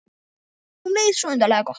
Og um leið svo undarlega gott.